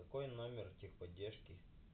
какой номер техподдержки